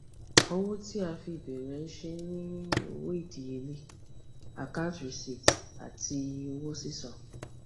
owó tí a fi bẹrẹ iṣẹ ni owó idiyele akanti rìsíìtì àti owó sísan